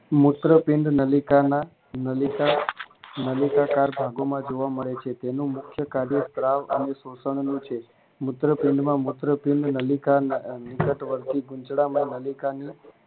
મૂત્રપિંડ નલિકાના નલિકા નલિકાકાર ભાગોમાં જોવા મળે છે તેની મુખ્યકાર્ય સ્ત્રાવ અને શોષણ નું છે મૂત્રપિંડમાં મૂત્રપિંડ ની નલિકા અંદરત વર્ગી ગુંચળામાં નલિકાની